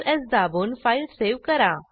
Ctrl S दाबून file save करा